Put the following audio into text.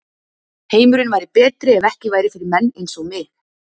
Heimurinn væri betri ef ekki væri fyrir menn eins og mig.